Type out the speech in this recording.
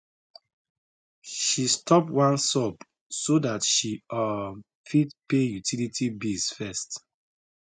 she stop one sub so that she um fit pay utility bills first